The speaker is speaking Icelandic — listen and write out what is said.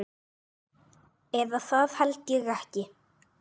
Eða það held ég ekki.